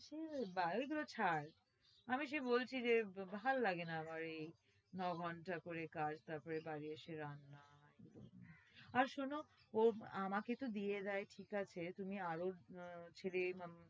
ধুর এইগুলো ছাড়, আমি সে বলছি যে ভাল লাগে না আমার এই ন-ঘন্টা করে কাজ, তারপরে বাড়ি এসে রান্না আর শোনো ওর আমাকে তো দিয়ে দেয় ঠিক আছে, তুমি আরও আহ